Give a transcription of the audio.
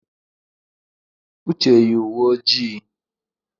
Uche yi uwe ojii.